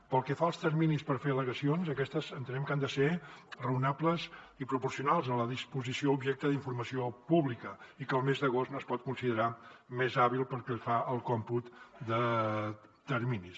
pel que fa als terminis per fer al·legacions aquests entenem que han de ser raonables i proporcionals a la disposició objecte d’informació pública i que el mes d’agost no es pot considerar mes hàbil pel que fa al còmput de terminis